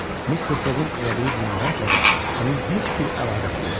Mister Foqun elədiyi cinayətlə də onun heç bir əlaqəsi yoxdur.